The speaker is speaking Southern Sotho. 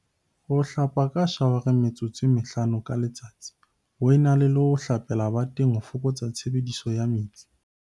Ho hlapa ka shawareng metsotso e mehlano ka letsatsi ho e na le ho hlapela bateng ho foko tsa tshebediso ya metsi